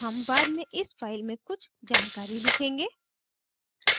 हम बाद में इस फ़ाइल में कुछ जानकारी लिखेंगे